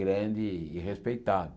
grande e respeitado.